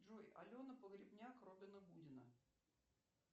джой алена погребняк робина гудина